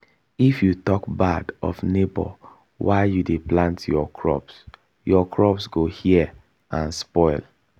if you talk bad of neighbour while you dey plant your crops your crops go hear and spoil.